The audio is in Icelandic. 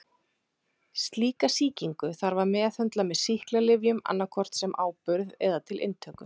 Slíka sýkingu þarf að meðhöndla með sýklalyfjum annað hvort sem áburð eða til inntöku.